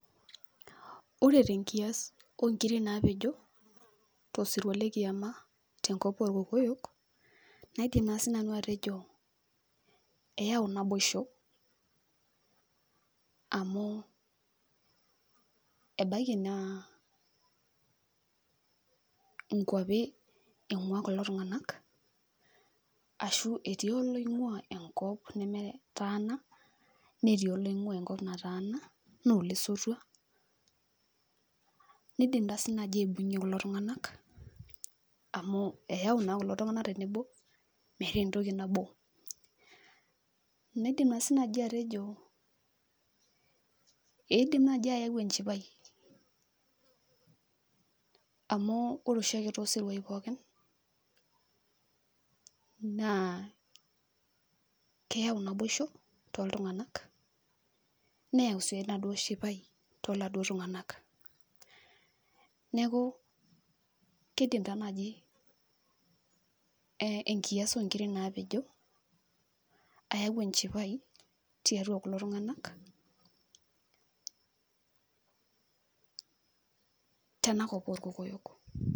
Ore tenkias onkiri napejo, tosirua lekiama tenkop orkokoyo, naidim naa sinanu atejo, eau naboisho. Amu, ebaiki naa inkwapi ing'ua kulo tung'anak, ashu etii oloing'ua enkop nemetaana, netii oloing'ua enkop nataana, nole sotua, nidim tasi naji aibung'ie kulo tung'anak, amu eyau nasi kulo tung'anak tebebo, metaa entoki nabo. Naidim nasi naji atejo idim naji ayau enchipai. Amu ore oshiake tosiruai pookin, naa keyau naboisho toltung'anak, neyau si enaduo shipai, toladuo tung'anak. Neeku, kidim taa naji enkias onkiri napejo, ayau enchipai tiatua kulo tung'anak, tenakop orkokoyok.